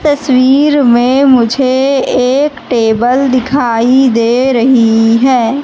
तस्वीर में मुझे एक टेबल दिखाई दे रही है।